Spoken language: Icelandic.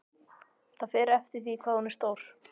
Það fer eftir því hvað hún er stór.